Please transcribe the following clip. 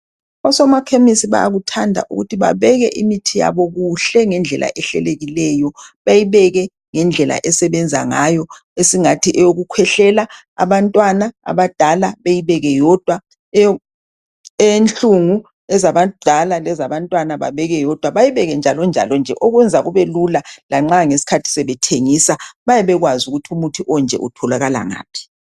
Osomakhemisi bayakuthanda ukuthi babeke imithi yabo kuhle ngendlela ehlelekileyo . Bayibeke ngendlela esebenza ngayo esingathi eyokukhwehlela abantwana abadala bayibeke yodwa, eyenhlungu ezabadala lezabantwana babeke yodwa bayibeke njalonjalo nje okwenza kube lula lanxa ngesikhathi sebethengisa bayabebekwazi ukuthi umuthi onje utholakala ngaphi.